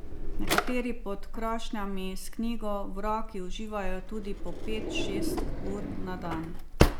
Nekateri pod krošnjami s knjigo v roki uživajo tudi po pet, šest ur na dan.